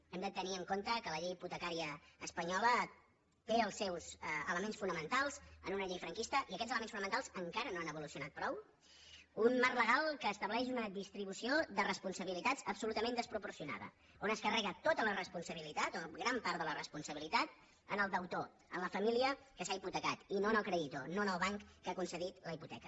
hem de tenir en compte que la llei hipotecària espanyola té els seus elements fonamentals en una llei franquista i aquests elements fonamentals encara no han evolucionat prou un marc legal que estableix una distribució de responsabilitats absolutament desproporcionada on es carrega tota la responsabilitat o gran part de la responsabilitat en el deutor en la família que s’ha hipotecat i no en el creditor no en el banc que ha concedit la hipoteca